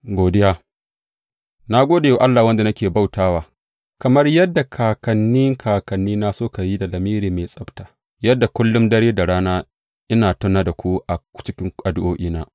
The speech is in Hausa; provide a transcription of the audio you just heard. Godiya Na gode wa Allah wanda nake bauta wa, kamar yadda kakanni kakannina suka yi da lamiri mai tsabta, yadda kullum dare da rana ina tuna da ku a cikin addu’o’ina.